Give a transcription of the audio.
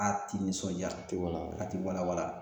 A ti nisɔndiya a ti wala wala a ti wala wala